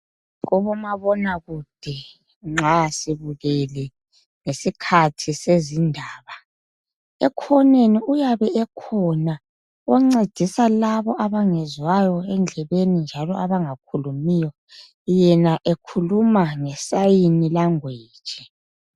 Kubomabonakude nxa sibukele isikhathi sezindaba, ekhoneni uyabe ekhona oncedisa labo abangezwayo endlebeni njalo abangakhulumiyo, yena ekhuluma nge sign language.